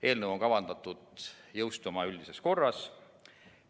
Eelnõu on kavandatud jõustuma üldises korras.